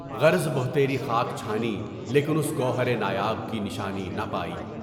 غرض بہتری خاک چھانی لیکن اُس گوہر نایاب کی نشانی نہ پائی۔